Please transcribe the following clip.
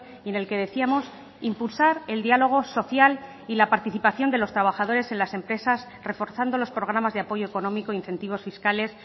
y en el que decíamos impulsar el diálogo social y la participación de los trabajadores en las empresas reforzando los programas de apoyo económico incentivos fiscales